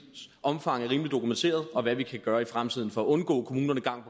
omfang er rimeligt dokumenteret og hvad vi kan gøre i fremtiden for at undgå at kommunerne gang